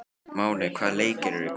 Máney, hvaða leikir eru í kvöld?